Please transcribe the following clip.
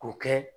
K'o kɛ